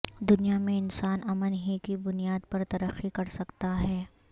دنیا میں انسان امن ہی کی بنیاد پر ترقی کرسکتا ہے